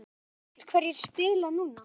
Er öruggt hverjir spila núna?